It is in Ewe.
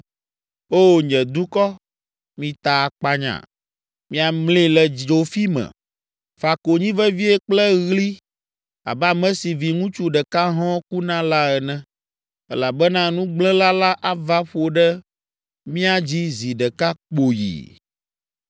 Oo, nye dukɔ, mita akpanya, miamli le dzofi me. Fa konyi vevie kple ɣli abe ame si viŋutsu ɖeka hɔ̃ɔ ku na la ene, elabena nugblẽla la ava ƒo ɖe mía dzi zi ɖeka kpoyi!